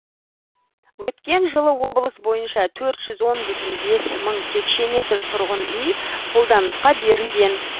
өткен жылы облыс бойынша төрт жүз он бүтін бес мың текше метр тұрғын үй қолданысқа берілген